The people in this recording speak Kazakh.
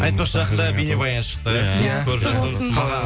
айтпақшы жақында бейнебаян шықты иә құтты болсын